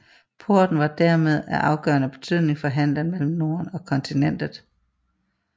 Porten var dermed af afgørende betydning for handelen mellem Norden og kontinentet